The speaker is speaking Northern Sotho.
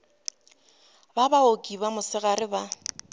ba baoki ba mosegare ba